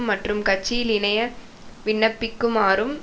மற்றும் கட்சியில் இணைய விண்ணப்பிக்குமாறும்